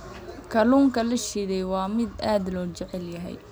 Kalluunka la shiilay waa mid aad loo jecel yahay.